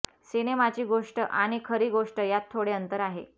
सिनेमाची गोष्ट आणि खरी गोष्ट यात थोडे अंतर आहे